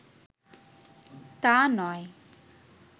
তা নয়